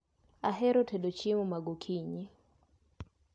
Ahero tedo chiemo ma gokinyi